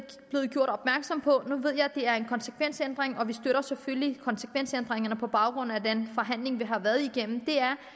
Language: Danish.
gjort opmærksom på nu ved jeg det er en konsekvensændring og vi støtter selvfølgelig konsekvensændringerne på baggrund af den forhandling vi har været igennem